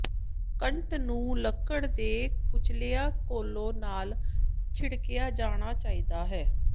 ਕੱਟ ਨੂੰ ਲੱਕੜ ਦੇ ਕੁਚਲਿਆ ਕੋਲੇ ਨਾਲ ਛਿੜਕਿਆ ਜਾਣਾ ਚਾਹੀਦਾ ਹੈ